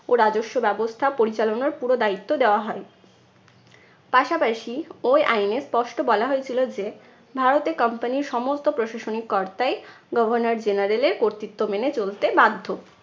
ও রাজস্ব ব্যবস্থা পরিচালনার পুরো দায়িত্ব দেওয়া হয়। পাশাপাশি ওই আইনে স্পষ্ট বলা হয়েছিল যে, ভারতে company র সমস্ত প্রশাসনিক কর্তাই governor general এর কর্তৃত্ব মেনে চলতে বাধ্য।